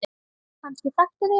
Kannski þekktu þau hann.